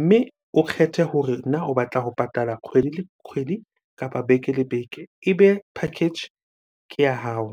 mme o kgethe hore na o batla ho patala kgwedi le kgwedi kapa beke le beke, ebe package ke ya hao.